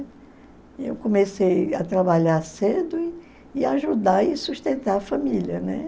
E eu comecei a trabalhar cedo e e ajudar e sustentar a família, né?